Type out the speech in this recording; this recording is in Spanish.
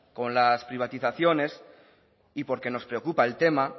con las privatizaciones y porque nos preocupa el tema